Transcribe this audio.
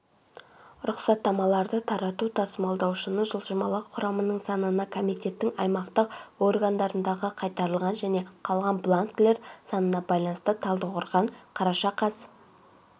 рұқсаттамаларды тарату тасымалдаушының жылжымалы құрамының санына комитеттің аймақтық органдарындағықайтарылған және қалған бланкілер санынабайланысты талдықорған қараша қаз